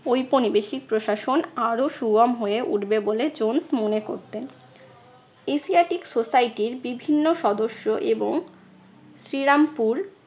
ঔপনিবেশিক প্রশাসন আরো সুগম হয়ে উঠবে বলে জোন্স মনে করতেন। এশিয়াটিক সোসাইটির বিভিন্ন সদস্য এবং শ্রীরামপুর